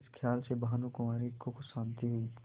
इस खयाल से भानुकुँवरि को कुछ शान्ति हुई